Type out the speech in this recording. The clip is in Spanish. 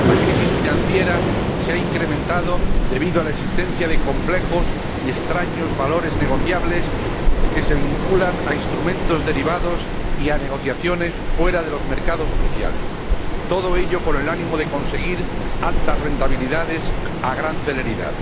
La crisis financiera se ha incrementado debido a la existencia de complejos y extraños valores negociables que se vinculan a instrumentos derivados y a negociaciones fuera de los mercados oficiales, todo ello con el ánimo de conseguir altas rentabilidades a gran celeridad.